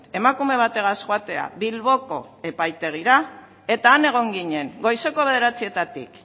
emakume bategaz joatea bilboko epaitegira eta han egon ginen goizeko bederatzietatik